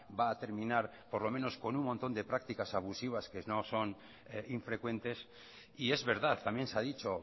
va a terminar por lo menos con un montón de prácticas abusivas que nos son infrecuentes y es verdad también se ha dicho